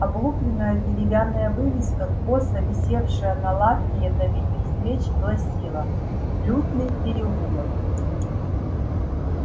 облупленная деревянная вывеска косо висевшая на лавке ядовитых свеч гласила лютный переулок